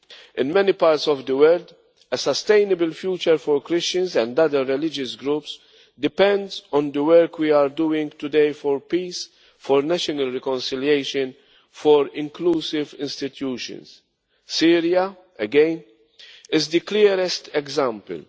In many parts of the world, a sustainable future for Christians and other religious groups depends on the work we are doing today for peace, for national reconciliation, for inclusive institutions. Syria, again, is the clearest